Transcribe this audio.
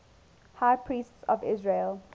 high priests of israel